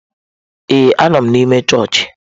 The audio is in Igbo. Ee, anọ m n'ime chọọchị.